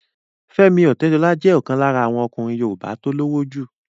Fẹ́mi Ọ̀tẹ́dọlá jẹ́ ọ̀kan lára àwọn ọkùnrin yoòbá tó lówó jù